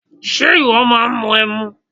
Ṣe ìwọ máà ń mu ẹmu?